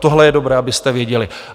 Tohle je dobré, abyste věděli.